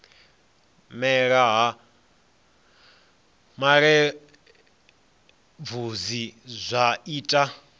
mela ha malelebvudzi zwa ita